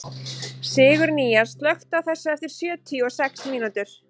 Sigurnýjas, slökktu á þessu eftir sjötíu og sex mínútur.